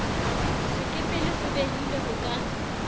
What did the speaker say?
sekepele se behilweng ho ka